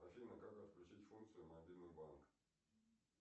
афина как отключить функцию мобильный банк